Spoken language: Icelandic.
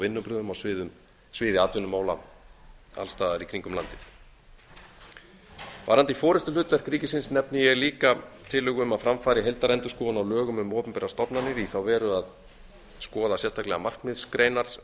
vinnubrögðum á sviði atvinnumála alls staðar í kringum landið varðandi forustuhlutverk ríkisins nefni ég líka tillögu um að fram fari heildarendurskoðun á lögum um opinberar stofnanir í þá veru að skoða sérstaklega markmiðsgreinar